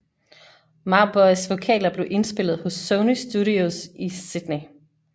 Mauboys vokaler blev indspillet hos Sony Studios i Sydney